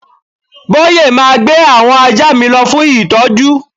Boye ma gbé àwọn ajá mi lọ fún ìtọ́jú